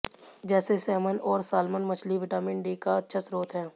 जैसे सैमन और साल्मन मछली विटामिन डी का अच्छा स्त्रोत है